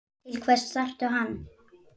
Til hvers þarftu hann?